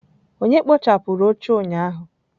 Onye kpochapụrụ oche ụnyaahụ?